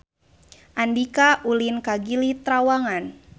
Andika ulin ka Gili Trawangan